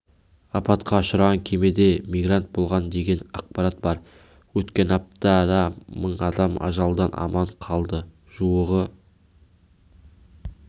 апатқа ұшыраған кемеде мигрант болған деген ақпарат бар өткен аптада мың адам ажалдан аман қалды жуығы